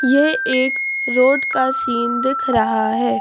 यह एक रोड कासीन दिख रहा है।